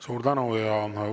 Suur tänu!